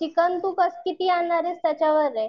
chicken बस तू किती आणते त्याच्यावरे